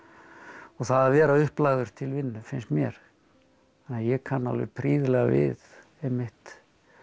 og það að vera upplagður til vinnu finnst mér ég kann alveg prýðilega við einmitt